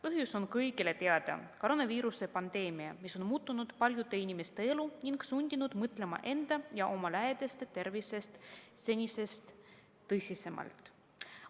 Põhjus on kõigile teada: koroonaviiruse pandeemia, mis on muutnud paljude inimeste elu ning sundinud mõtlema enda ja oma lähedaste tervisest senisest tõsisemalt.